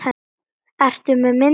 Ertu með mynd af henni?